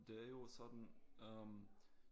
Det er jo også sådan øh